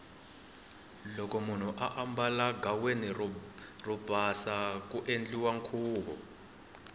loko munhu ambala ghaweni ro pasa ku endliwa nkhuvu